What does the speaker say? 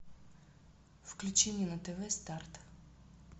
включи мне на тв старт